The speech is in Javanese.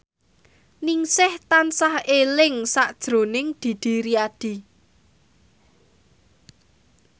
Ningsih tansah eling sakjroning Didi Riyadi